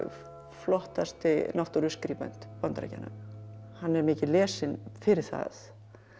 flottasti Bandaríkjanna hann er mikið lesinn fyrir það